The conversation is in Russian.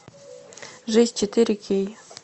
жизнь четыре кей